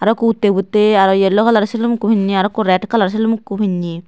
aro eko utti botti aro yellow kalar selum pinney aroko red kalar selum pinney.